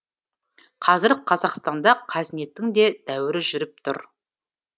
қазір қазақстанда қазнеттің де дәуірі жүріп тұр